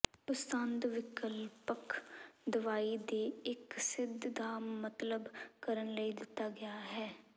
ਪਸੰਦ ਵਿਕਲਪਕ ਦਵਾਈ ਦੇ ਇੱਕ ਸਿੱਧ ਦਾ ਮਤਲਬ ਕਰਨ ਲਈ ਦਿੱਤਾ ਗਿਆ ਹੈ